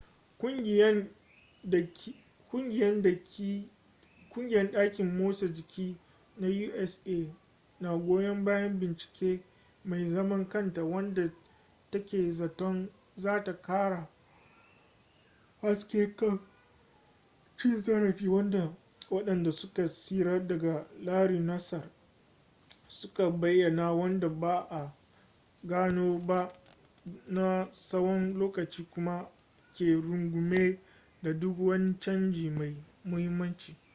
kungiyan daki motsa jiki na usa na goyon bayan bincike mai zaman kanta wadda take zaton zata kara haske kan cin zarafi wadda wadanda suka tsira daga larry nassar suka bayana wadda ba a gano ba na tsawon lokaci kuma ke rungume da duk wani canji mai muhimmanci